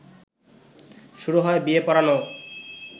শুরু হয় বিয়ে পড়ানো